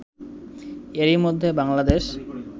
এরই মধ্যে বাংলাদেশ